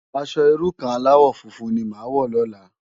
Aṣò irú kàn álàwò fúnfún ni má wò lòlá